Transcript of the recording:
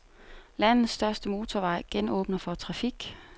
Landets største motorvej genåbner for trafik.